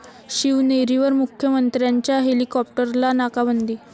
शिवनेरीवर मुख्यमंत्र्यांच्या हेलिकॉप्टरला 'नाकाबंदी'